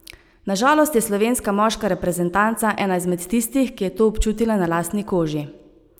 Na žalost je slovenska moška reprezentanca ena izmed tistih, ki je to občutila na lastni koži.